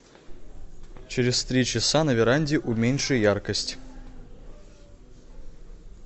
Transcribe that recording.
через три часа на веранде уменьши яркость